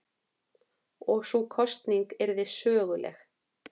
Og sú kosning yrði söguleg.